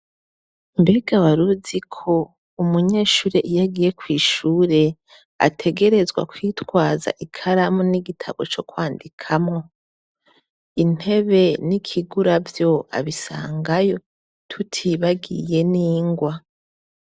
Mbega waruziko umunyeshure iyo agiye kw'ishure ategerezwa kwitwaza ikaramu n'igitabo co kwandikamo, intebe n'ikiguravyo abisangayo tutibagiye n'ingwa.